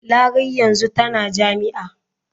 Larai yanzu tana jami'a.